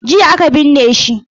Jiya aka binne shi.